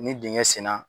Ni dingɛn senna